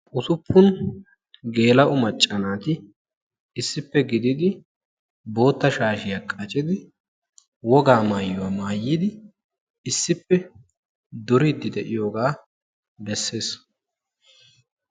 usuppun geela'o macca naati issippe giddidi bootta shaashiya qaccidi wogaa maayuwaa maayidi issippe duriidi diyoogaa bessees.